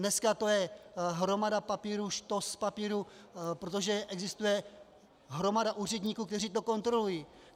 Dneska to je hromada papírů, štos papírů, protože existuje hromada úředníků, kteří to kontrolují.